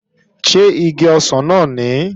Ṣé igi ọsàn náà nìí?